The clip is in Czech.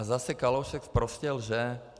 A zase Kalousek sprostě lže.